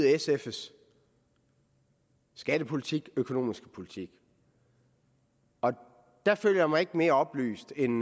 sfs skattepolitik og økonomiske politik og der føler jeg mig ikke mere oplyst end